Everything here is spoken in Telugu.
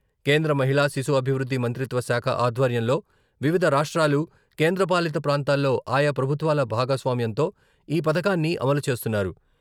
కేంద్ర మహిళా శిశు అభివృద్ధి మంత్రిత్వ శాఖ ఆధ్వర్యంలో వివిధ రాష్ట్రాలు, కేంద్ర పాలిత ప్రాంతాల్లో ఆయా ప్రభుత్వాల భాగస్వామ్యంతో ఈ పథకాన్ని అమలు చేస్తున్నారు.